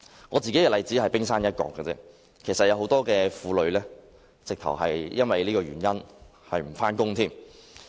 我的例子只是冰山一角，有很多婦女更因這原因而要辭去工作。